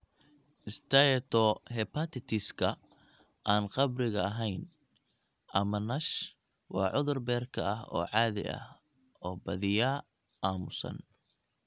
Steatohepatitis-ka aan khamriga ahayn, ama NASH, waa cudur beerka ah oo caadi ah, oo badiyaa aamusan.